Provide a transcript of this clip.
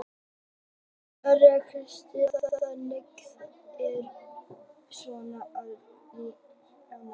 Þóra Kristín Ásgeirsdóttir: Þannig að þetta er ekki svona hvalreki í jákvæðri merkingu?